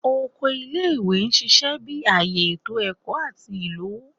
Oko ile-iwe n ṣiṣẹ bi aaye eto ẹkọ ati ilowo